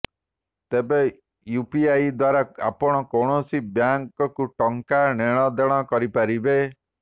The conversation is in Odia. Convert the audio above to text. ତେବେ ୟୁପିଆଇ ଦ୍ବାରା ଆପଣ ଯେକୌଣସି ବ୍ଯଙ୍କକୁ ଟଙ୍କା ନେଣଦେଣ କରିପାରିବେ